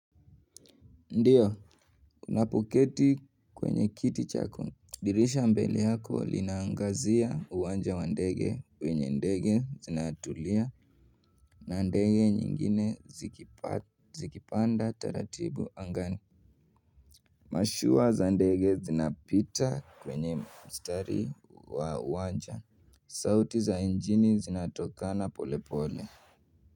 Ndiyo, napoketi kwenye kiti chako dirisha mbeli yako linaangazia uwanja wa ndege kwenye ndege zinatulia na ndege nyingine zikipanda taratibu angani. Mashua za ndege zinapita kwenye mstari wa uwanja sauti za injini zinatokana polepole.